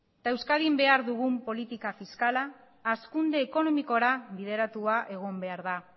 euskadin behar dugu politika fiskala hazkunde ekonomikora bideratua egin behar da